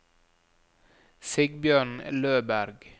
Sigbjørn Løberg